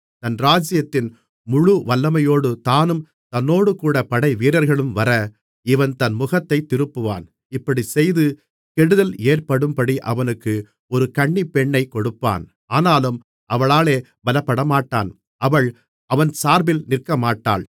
தன் ராஜ்ஜியத்தின் முழுவல்லமையோடு தானும் தன்னோடேகூட படைவீரர்களும் வர இவன் தன் முகத்தைத் திருப்புவான் இப்படிச் செய்து கெடுதல் ஏற்படும்படி அவனுக்கு ஒரு கன்னிப்பெண்ணைக் கொடுப்பான் ஆனாலும் அவளாலே பலப்படமாட்டான் அவள் அவன் சார்பில் நிற்கமாட்டாள்